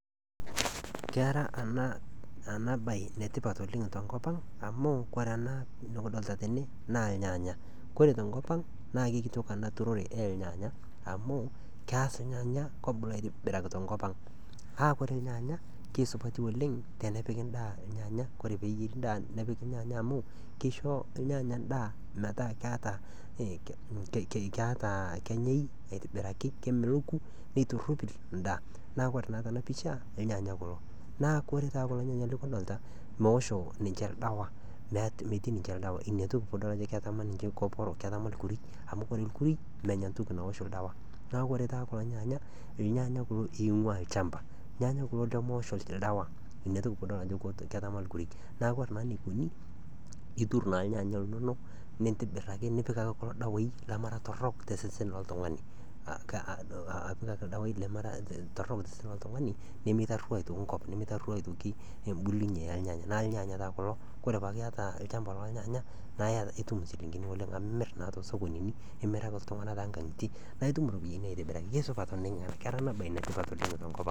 Kera ena baye enetipat oleng' tenkop ang' amu ore ena nekidolita tene naa ilnyanya, ore tenkop ang' na kitok ena siai enturore olnyanya, amu keas inyanya obulaki aitobiraki tenkop ang'. Naa ore ilnyanya naa supati oleng' tenepiki endaa ilnyanya naa ore pee epiki endaa ilnyanya kore pee eyieri endaa nepiki ilnyanya , amu keisho ilnyanya iendaa metaa keataa kenyai aitobiraki, kemeloku, keitopir endaa. Na ore naa tena pisha ilnyanya kulo, naa kore taa kulo nyanya le kidolita, meosho ninche oldawa, metii ninche ldawa ina pedolita ajo ketama niche nkoporok, ketama ilkuruk, amu ore ilkurui menya entoki naosho oldawa. Neaku ore taa kulo nyaanya , ilnyaanya kulo loing'ua olchamba, ilnyanya kulo lemeosho ldawa netiu ajo kidol ajo etama ilkuruk, neaku ore taa eneikuni, intuur na ilnyanya linono, nintibir ake nipik ake kulo dawai lemera torok tosesen loltung'ani, apik ake ilkeek lemera ake torok tosesen loltung'ani nemeitaruo aitoki enkop, nemeitaruo aitoki embulunye olnyanya, neaku ilnyanya paake kulo, ore pee eaku iata olchamba lo ilnyanya naa itum inchilingini oleng' amu imir aitoki too sokonini, imiraki iltung'ana too nkang'itie naa itum iropiani oleng' aitobiraki , neaku kera ena baye ene tipat oleng' tenkop ang'.